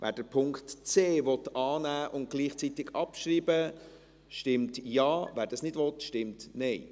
Wer den Punkt c annehmen und gleichzeitig abschreiben will, stimmt Ja, wer das nicht will, stimmt Nein.